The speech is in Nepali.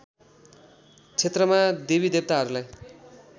क्षेत्रमा देवी देवताहरूलाई